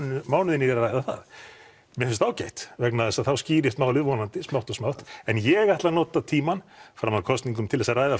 mánuðina í að ræða það mer finnst það ágætt vegna þess að þá skýrist málið vonandi smátt og smátt en ég ætla að nota tímann fram að kosningum til þess að ræða